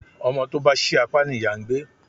Ọmọ tó bá ṣí apá ni ìyá ń gbé.